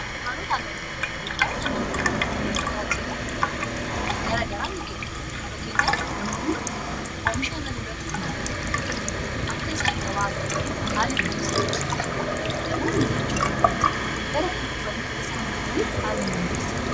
dunkaanota annan gurguran dunkaanoot annan gurguran kuniin tajaajila garagaraa nikeennu fakkiinyaaf namoonni oomishaannan irratti himmaataniif akka isaan gabaa argataniif haala mijeessa kasumis immoo namoonni bisachuu barbaadan gara kana dhufanne akka isaan bitataniif haalan imjeessa